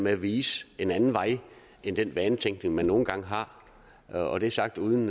at vise en anden vej end den vanetænkning man nogle gange har og og det sagt uden